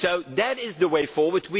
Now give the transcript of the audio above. Italy. So that is the way forward.